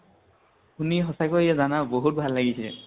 শুনি সঁচা কৈ জানা বহুত ভাল লাগিছে।